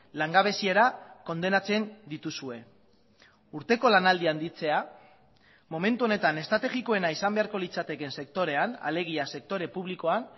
langabeziara kondenatzen dituzue urteko lanaldia handitzea momentu honetan estrategikoena izan beharko litzatekeen sektorean alegia sektore publikoan